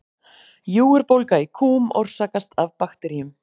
Júgurbólga í kúm orsakast af bakteríum.